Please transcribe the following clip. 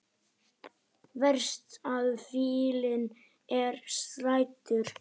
Verst að fíllinn er seldur.